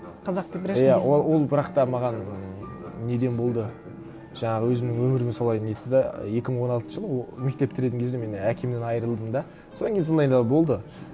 қазақтың бірінші несі иә ол бірақ та маған неден болды жаңағы өзімнің өмірім солай нетті де ы екі мың он алтыншы жылы мен мектеп бітіретін кезде мен әкемнен айырылдым да содан кейін сондай да болды